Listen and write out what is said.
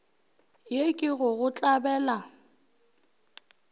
ye ke go go tlabela